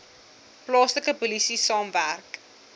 plaaslike polisie saamwerk